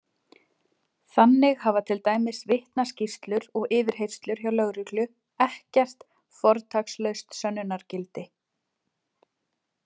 Þannig hafa til dæmis vitnaskýrslur og yfirheyrslur hjá lögreglu ekkert fortakslaust sönnunargildi!